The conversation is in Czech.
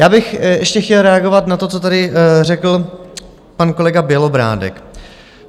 Já bych ještě chtěl reagovat na to, co tady řekl pan kolega Bělobrádek.